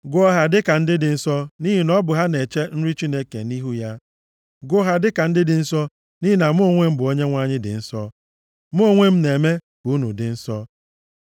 Gụọ ha dịka ndị dị nsọ nʼihi na ọ bụ ha na-eche nri Chineke nʼihu ya. Gụọ ha dịka ndị dị nsọ nʼihi na mụ onwe m bụ Onyenwe anyị dị nsọ, mụ onwe m na-eme ka unu dị nsọ.